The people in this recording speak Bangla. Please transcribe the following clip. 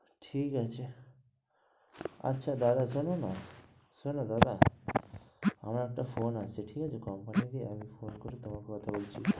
ঠিক আছে আচ্ছা দাদা শোনো না শোনো দাদা আমার একটা ফোন আসছে ঠিক আছে কোম্পানি থেকে ফোন করি, তারপর কথা বলছি।